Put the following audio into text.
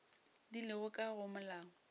di lego ka go molao